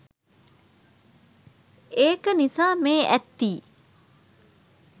ඒක නිසා මේ ඇත්ති